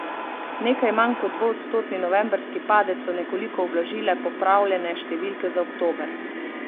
Nekaj manj kot dvoodstotni novembrski padec so nekoliko ublažile popravljene številke za oktober.